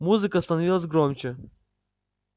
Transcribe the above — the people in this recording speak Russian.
музыка становилась громче